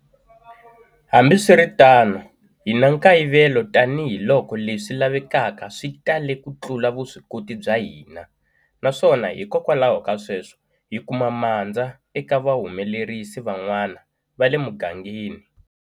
Hambiswiritano, hi na nkayivelo tanihiloko leswi lavekaka swi tale kutlula vuswikoti bya hina naswona, hikwalaho ka sweswo, hikuma mandza eka vahumelerisi van'wana va le mugangeni.